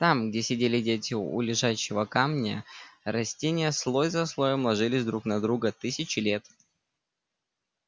там где сидели дети у лежачего камня растения слой за слоем ложились друг на друга тысячи лет